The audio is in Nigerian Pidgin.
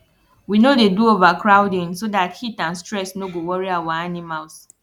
we no dey do overcrowding so dat heat and stress no go worry our animals